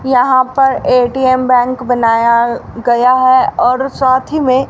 यहां पर ATM bank बनाया गया है और साथ ही में--